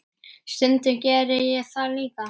Stundum gerði ég það líka.